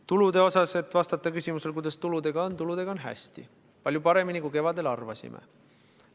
Tuludega – et vastata küsimusele, kuidas tuludega on – on hästi, palju paremini, kui kevadel arvasime.